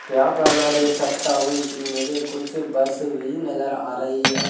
यहां पर मैं देख सकता हूं कि मुझे कुछ बस भी नजर आ रही है।